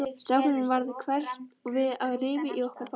Strákunum varð hverft við og rifu í okkur báðar.